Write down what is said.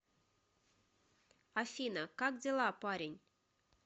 афина как дела парень